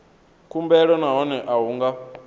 khumbelo nahone a hu nga